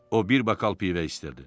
O, bir bakal pivə istərdi.